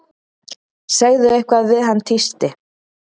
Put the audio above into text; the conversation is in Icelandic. Segðu eitthvað við hann tísti